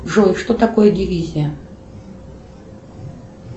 джой что такое дивизия